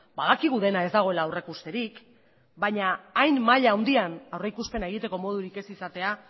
badakigu dena ez dagoela aurreikusterik baina hain maila handian aurreikuspena egiteko modurik ez izatea